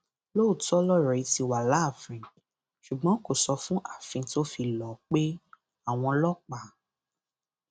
lóòótọ lọrọ yìí ti wà láàfin ṣùgbọn kò sọ fún ààfin tó fi lọọ pe àwọn ọlọpàá